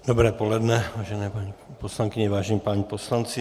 Dobré poledne, vážené paní poslankyně, vážení páni poslanci.